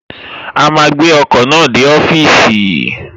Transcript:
A máa gbé ọkọ̀ náà dé ọ́fìsì